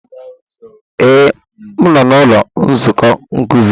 Ee, m nọ n'ụlọ nzukọ nkuzi.